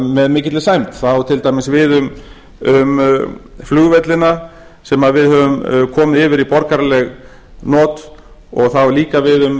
með mikilli sæmd það á til dæmis við um flugvellina sem við höfum komið yfir í borgaraleg not og það á líka við um